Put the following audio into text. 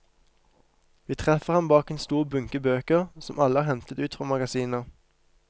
Vi treffer ham bak en stor bunke bøker som alle er hentet ut fra magasiner.